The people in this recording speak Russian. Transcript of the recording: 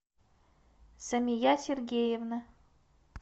самия сергеевна